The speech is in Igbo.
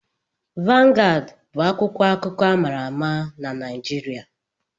Vangad bụ akwụkwọ akụkọ ama ama na Naijiria.